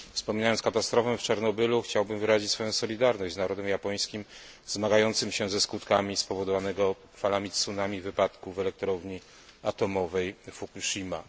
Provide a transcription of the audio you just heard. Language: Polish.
Wspominając katastrofę w Czarnobylu, chciałbym wyrazić swoją solidarność z narodem japońskim zmagającym się ze skutkami spowodowanego falami tsunami wypadku w elektrowni atomowej Fukushima.